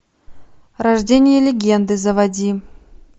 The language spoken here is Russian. рождение легенды заводи